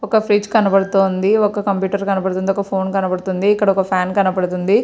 ఒక ఫ్రిడ్జ్ కనబడుతూ ఉంది. ఒక కంప్యూటర్ కనబడుతుంది. ఒక ఫోన్ కనబడుతుంది. ఇక్కడ ఒక ఫ్యాన్ కనబడుతూ ఉంది.